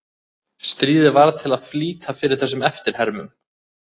Stríðið varð til að flýta fyrir þessum eftirhermum.